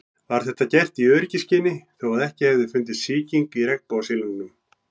Var þetta gert í öryggisskyni þó að ekki hefði fundist sýking í regnbogasilungnum.